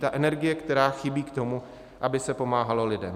Ta energie, která chybí k tomu, aby se pomáhalo lidem.